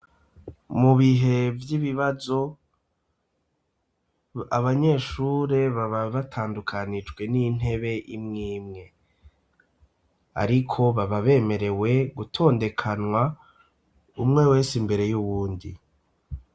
Mu bihe vy'ibibazo, abanyeshure baba batandukanijwe n'intebe imwe imwe. Ariko baba bemerewe gutondekanwa umwe wese imbere y'uwundi.